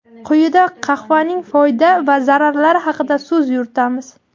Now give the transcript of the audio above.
Quyida qahvaning foyda va zararlari haqida so‘z yuritamiz.